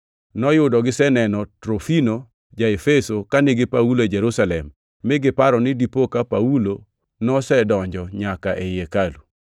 (Noyudo giseneno Trofimo ja-Efeso ka nigi Paulo e Jerusalem mi giparo ni dipo ka Paulo nosedonjo nyaka ei hekalu.)